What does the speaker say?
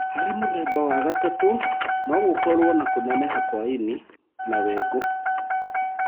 Harĩ mũthemba wa gatatũ no gũkorwo na kũneneha kwa ini na wengũ.